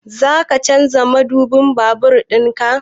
Zaka canza madubin babur ɗinka?